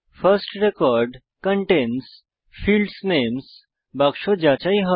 first record contains fields names বাক্স যাচাই হয়